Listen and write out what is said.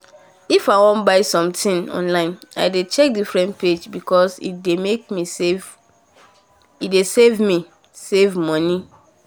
if i won buy um something online i dey check different page because e dey make me save me save money